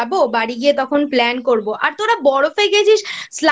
বাড়ি গিয়ে তখন Plan করব। আর তোরা বরফে গেছিস